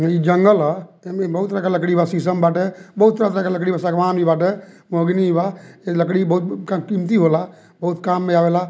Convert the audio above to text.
हई जंगल ह एमे बहुत लेखा लकड़ी शीशम बाटे बहुत तरह के लकड़ी बा सागवान भी बाटे बा लकड़ी बहुत कीमती होला बहुत काम में आवेला।